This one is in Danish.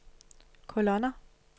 kolonner